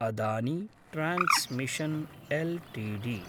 Adani transmission LTD